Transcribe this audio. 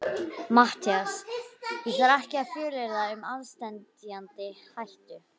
MATTHÍAS: Ég þarf ekki að fjölyrða um aðsteðjandi hættu.